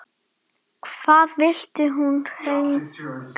Hvað vildi hún hingað?